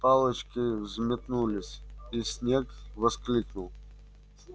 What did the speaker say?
палочки взметнулись и снегг воскликнул